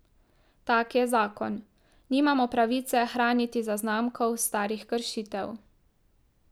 Tak je zakon, nimamo pravice hraniti zaznamkov starih kršitev.